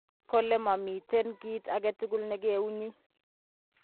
Kole momiten kit agetugul negeunyi.